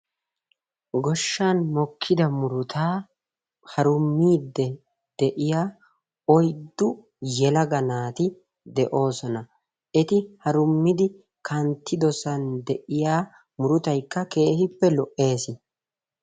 Goshshan mokkida murutaa harummiiddi de'iya oyddu yelaga naati de'osona. Eti harummidi kanttidosan de'iya murutaykka keehippe lo'ees.